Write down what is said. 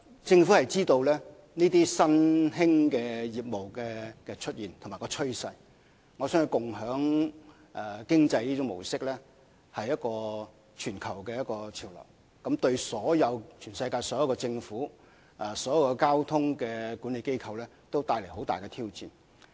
政府知悉這些新興業務的出現和趨勢，而共享經濟的模式是全球潮流，相信對全世界所有政府、交通管理機構都帶來了重大挑戰。